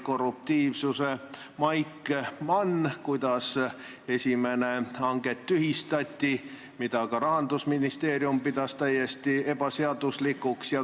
Korruptiivsuse maik oli man sellel, kuidas esimene hange tühistati, mida ka Rahandusministeerium pidas täiesti ebaseaduslikuks.